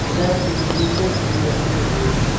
Rack में जूते भी रखे हुए हैं।